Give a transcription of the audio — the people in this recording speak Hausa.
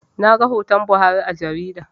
Naga hoton Buhari a jarida